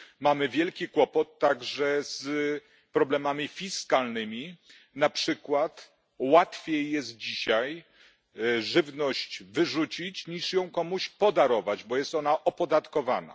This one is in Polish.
Mamy wielki kłopot także z problemami fiskalnymi, na przykład łatwiej jest dzisiaj żywność wyrzucić, niż ją komuś podarować, bo jest ona opodatkowana.